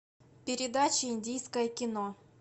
передача индийское кино